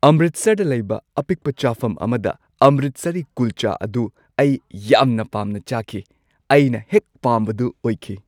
ꯑꯃꯔꯤꯠꯁꯔꯗ ꯂꯩꯕ ꯑꯄꯤꯛꯄ ꯆꯥꯐꯝ ꯑꯃꯗ ꯑꯃꯔꯤꯠꯁꯔꯤ ꯀꯨꯜꯆꯥ ꯑꯗꯨ ꯑꯩ ꯌꯥꯝꯅ ꯄꯥꯝꯅ ꯆꯥꯈꯤ꯫ ꯑꯩꯅ ꯍꯦꯛ ꯄꯥꯝꯕꯗꯨ ꯑꯣꯏꯈꯤ꯫